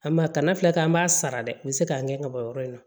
An ma kana filɛ kɛ an b'a sara dɛ u be se k'a gɛn ka bɔ yɔrɔ in na